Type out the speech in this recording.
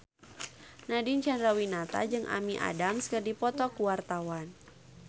Nadine Chandrawinata jeung Amy Adams keur dipoto ku wartawan